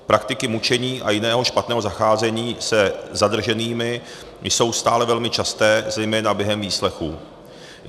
Praktiky mučení a jiného špatného zacházení se zadrženými jsou stále velmi časté zejména během výslechů.